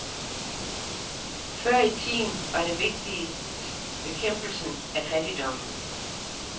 Før i tiden var det vigtigste bekæmpelsen af fattigdommen.